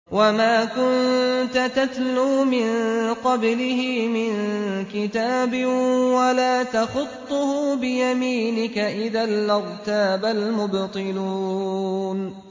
وَمَا كُنتَ تَتْلُو مِن قَبْلِهِ مِن كِتَابٍ وَلَا تَخُطُّهُ بِيَمِينِكَ ۖ إِذًا لَّارْتَابَ الْمُبْطِلُونَ